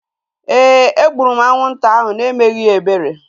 Éè, e gburu m anwụnta ahu na-emeghị ya ebere